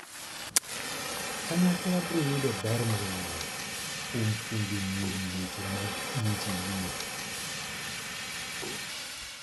Kanyakla biro yudo ber mang'eny kuom puonjo nyiri weche mag injinia.